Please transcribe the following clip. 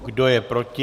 Kdo je proti?